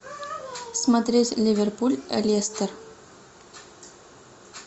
смотреть ливерпуль лестер